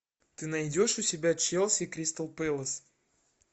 ты найдешь у себя челси кристал пэлас